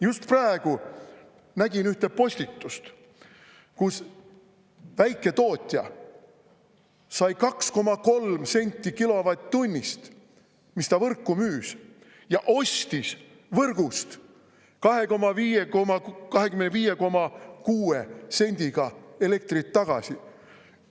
Just praegu nägin ühte postitust, kus väiketootja sai 2,3 senti kilovatt-tunnist, mis ta võrku müüs, ja ostis võrgust 25,6 sendiga elektrit tagasi.